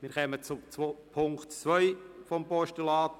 Wir kommen zum Punkt 2 des Postulats.